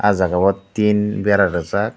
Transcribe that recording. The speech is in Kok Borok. ah jaga o tin bera rijak.